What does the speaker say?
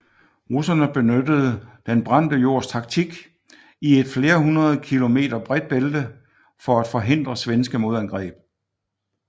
Russerne benyttede den brændte jords taktik i et flere hundrede kilometer bredt bælte for at forhindre svenske modangreb